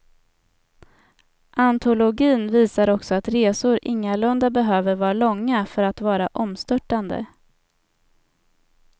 Antologin visar också att resor ingalunda behöver vara långa för att vara omstörtande.